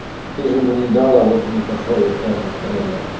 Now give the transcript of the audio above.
ты же ему не дала вот он и пошёл искать на стороне